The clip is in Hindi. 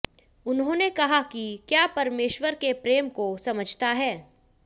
उन्होंने कहा कि क्या परमेश्वर के प्रेम को समझता है